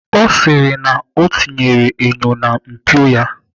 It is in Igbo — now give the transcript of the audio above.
Ọ sịrị m na ọ tinyere enyo na mpio ya.